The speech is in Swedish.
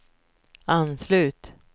anslut